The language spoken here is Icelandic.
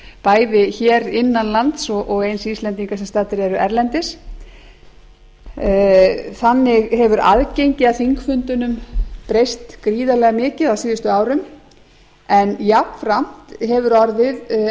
bæði hér innan lands og eins íslendinga sem staddir eru erlendis þannig hefur aðgengi að þingfundunum breyst gríðarlega mikið á síðustu árum en jafnframt hefur orðið